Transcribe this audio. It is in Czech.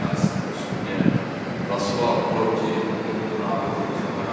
Já jsem osobně hlasoval proti tomuto návrhu, tzn.